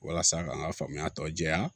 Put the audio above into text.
Walasa ka n ka faamuya tɔ jɛya